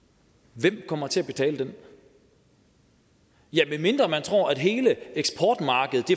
hvem kommer til at betale den ja medmindre man tror at hele eksportmarkedet